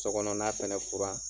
Sokɔnɔ na fɛnɛ furan.